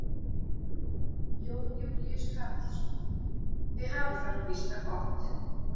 Jón Júlíus Karlsson: Þið hafið það nú býsna gott?